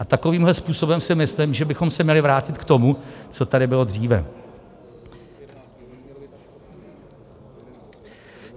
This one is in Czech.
A takovýmto způsobem si myslím, že bychom se měli vrátit k tomu, co tady bylo dříve.